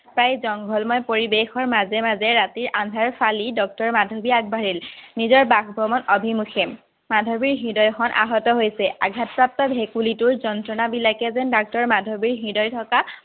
প্ৰায় জংঘলময় পৰিবেশৰ মাজে মাজে ৰাতি আন্ধাৰ ফালি ডাক্তৰ মাধৱী আগবাঢ়িল, নিজৰ বাসভৱন অভিমুখে। মাধৱীৰ হৃদয়খন আহত হৈছে, আঘাতপ্ৰাপ্ত ভেকুলীটোৰ যন্ত্ৰণাবিলাকে যেন ডাক্তৰ মাধৱীৰ হৃদয় ঠকা-